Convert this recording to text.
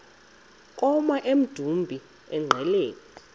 koma emdumbi engqeleni